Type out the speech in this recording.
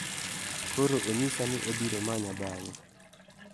Koro onyisa ni obiro manya bang'e.